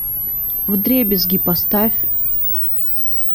вдребезги поставь